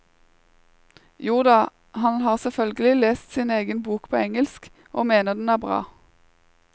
Joda, han har selvfølgelig lest sin egen bok på engelsk, og mener den er bra.